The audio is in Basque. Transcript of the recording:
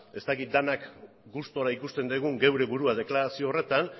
ez dakit denak gustura ikusten dugun geure burua deklarazio horretan